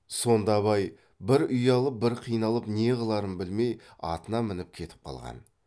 сонда абай бір ұялып бір қиналып не қыларын білмей атына мініп кетіп қалған